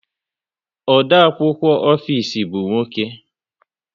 Odeakwụkwọ ofisi bụ nwoke